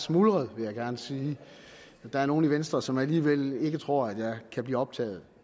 smuldret vil jeg gerne sige der er nogle i venstre som alligevel ikke tror at jeg kan blive optaget